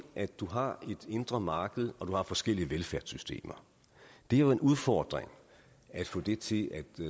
at du har et indre marked og du har forskellige velfærdssystemer det er jo en udfordring at få det til at